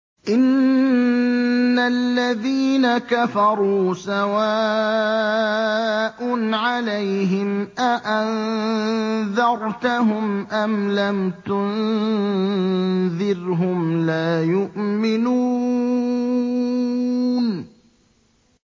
إِنَّ الَّذِينَ كَفَرُوا سَوَاءٌ عَلَيْهِمْ أَأَنذَرْتَهُمْ أَمْ لَمْ تُنذِرْهُمْ لَا يُؤْمِنُونَ